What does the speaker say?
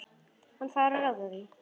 Hann fær að ráða því.